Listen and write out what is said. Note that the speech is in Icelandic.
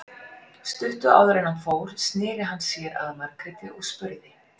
Stuttu áður en hann fór sneri hann sér að Margréti og spurði